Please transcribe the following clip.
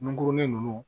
Ngurunin ninnu